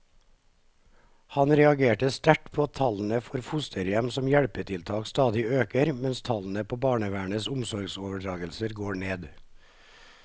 Han reagerer sterkt på at tallene for fosterhjem som hjelpetiltak stadig øker, mens tallene på barnevernets omsorgsoverdragelser går ned.